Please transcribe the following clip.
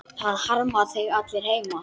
Það harma þig allir heima.